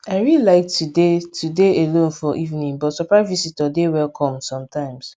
i really like to dey to dey alone for evening but surprise visitor dey welcome sometimes